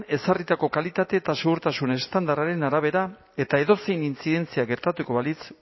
ezarritako kalitate eta segurtasun estandarraren arabera eta edozein inzidentzia gertatuko balitz